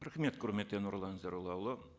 рахмет құрметті нұрлан зайроллаұлы